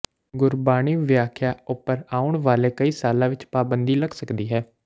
ਗੁਰਬਾਣੀ ਵਿਆਖਿਆ ਉਪਰ ਆਉਣ ਵਾਲੇ ਸਾਲਾਂ ਵਿੱਚ ਪਾਬੰਦੀ ਲੱਗ ਸਕਦੀ ਹੈ